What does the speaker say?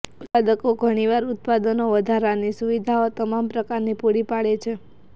ઉત્પાદકો ઘણીવાર ઉત્પાદનો વધારાની સુવિધાઓ તમામ પ્રકારના પૂરી પાડે છે